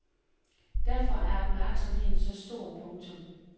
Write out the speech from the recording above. Derfor er opmærksomheden så stor. punktum